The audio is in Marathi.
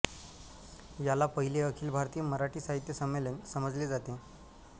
याला पहिले अखिल भारतीय मराठी साहित्य संमेलन समजले जाते